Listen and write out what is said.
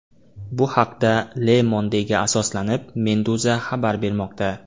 Bu haqda Le Monde’ga asoslanib, Meduza xabar bermoqda .